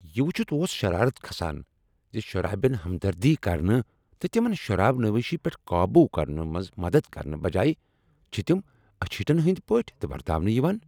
یہ وٕچھتھ اوس شرارت کھسان ز شرابین ہمدردی کرنہٕ تہٕ تمن شراب نوشی پیٹھ قابو کرنس منز مدد کرنہٕ بجایہ چھ تم اچھیٹن ہٕنٛدۍ پٲٹھۍ ورتاونہٕ یوان۔